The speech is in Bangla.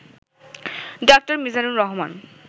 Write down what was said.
ড. মিজানুর রহমান